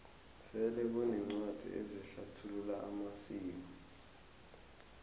sele kuneencwadi ezihlathulula amasiko